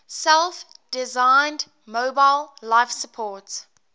self designed mobile life support